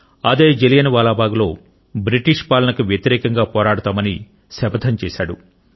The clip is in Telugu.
అదే జలియన్ వాలా బాగ్లో బ్రిటిష్ పాలనకు వ్యతిరేకంగా పోరాడతామని శపథం చేశాడు